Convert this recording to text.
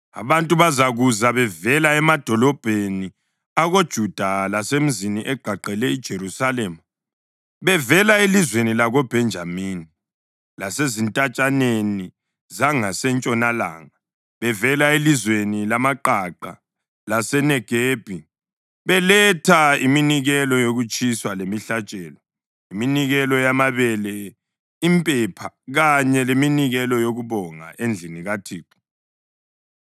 Abantu bazakuza bevela emadolobheni akoJuda lasemizini egqagqele iJerusalema, bevela elizweni lakoBhenjamini lasezintatshaneni zangasentshonalanga, bevela elizweni lamaqaqa laseNegebi, beletha iminikelo yokutshiswa lemihlatshelo, iminikelo yamabele, impepha kanye leminikelo yokubonga endlini kaThixo.